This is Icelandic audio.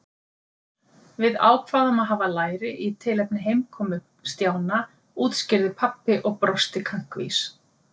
Við ákváðum að hafa læri í tilefni heimkomu Stjána útskýrði pabbi og brosti kankvís.